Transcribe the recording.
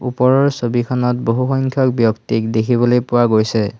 ওপৰৰ ছবিখনত বহু সংখ্যক ব্যক্তিক দেখিবলৈ পোৱা গৈছে।